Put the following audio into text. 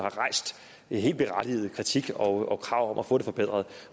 og rejst helt berettiget kritik og krav om at få det forbedret